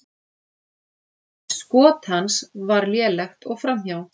Skot hans var lélegt og framhjá.